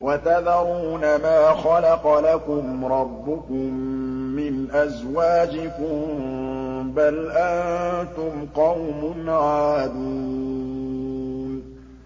وَتَذَرُونَ مَا خَلَقَ لَكُمْ رَبُّكُم مِّنْ أَزْوَاجِكُم ۚ بَلْ أَنتُمْ قَوْمٌ عَادُونَ